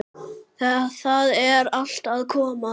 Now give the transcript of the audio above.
Það er allt að koma.